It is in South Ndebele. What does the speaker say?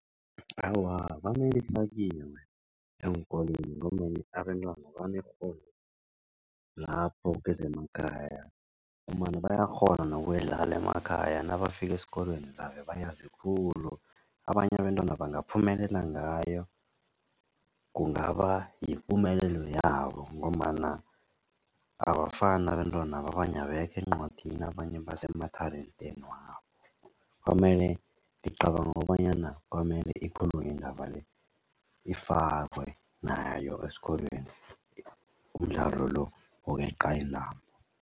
Awa, kwamele ifakiwe eenkolweni ngombana abentwana banekghono lapho kezemakhaya, ngombana bayakghona nokudlala emakhaya nabafika esikolweni zabe bayazi khulu. Abanye abentwana bangaphumelela ngayo kungaba yipumelelo yabo ngombana abafani abentwana. Abanye abekho encwadini abanye base mathalenteni wabo kwamele, ngicabanga kobanyana kwamele ikhulunywe indaba le ifakwe nayo esikolweni umdlalo lo wokweqa intambo.